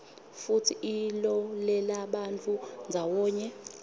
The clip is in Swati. futsi ilolelabantfu ndzawonye